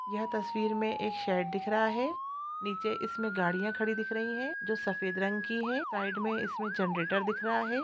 यह तस्वीर में एक शेड दिख रहा है नीचे इसमें गाडियाँ खड़ी दिख रही है जो सफेद रंग की है साइड में इसमें जनरेटर दिख रहा है ।